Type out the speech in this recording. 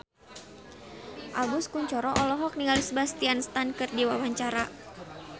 Agus Kuncoro olohok ningali Sebastian Stan keur diwawancara